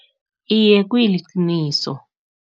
Iye, kuliqiniso.